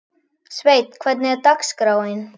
Sveinn, hvernig er dagskráin?